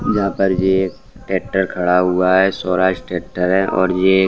यहाँ पर ये ट्रेक्टर खड़ा हुआ है स्वराज ट्रेक्टर है और ये --